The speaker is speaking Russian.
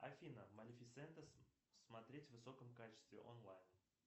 афина малефисента смотреть в высоком качестве онлайн